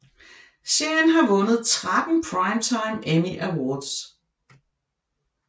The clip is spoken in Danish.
Serien har vundet tretten Primetime Emmy Awards